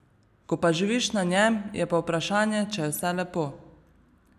Ko pa živiš na njem, je pa vprašanje, če je vse lepo.